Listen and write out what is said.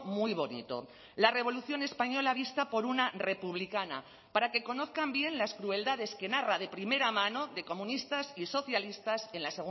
muy bonito la revolución española vista por una republicana para que conozcan bien las crueldades que narra de primera mano de comunistas y socialistas en la